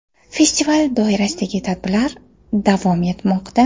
Festival doirasidagi tadbirlar davom etmoqda.